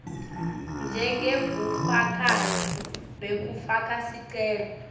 njengebufakazi bekufaka sicelo